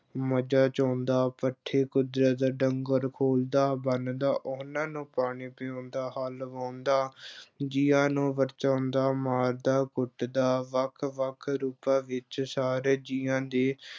ਮੱਝਾਂ ਚੋਂਦਾ, ਪੱਠੇ ਕੁਤਰਦਾ, ਡੰਗਰ ਖੋਲ੍ਹਦਾ-ਬੰਨ੍ਹਦਾ, ਉਹਨਾਂ ਨੂੰ ਪਾਣੀ ਪਿਆਉਂਦਾ, ਹਲ ਵਾਹੁੰਦਾ ਜੀਆਂ ਨੂੰ ਵਰਚਾਉਂਦਾ, ਮਾਰਦਾ-ਕੁੱਟਦਾ, ਵੱਖ-ਵੱਖ ਰੂਪਾਂ ਵਿੱਚ ਸਾਰੇ ਜੀਆਂ ਦੇ